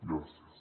gràcies